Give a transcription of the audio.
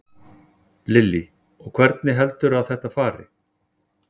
Lillý: Og hvernig heldurðu að þetta fari?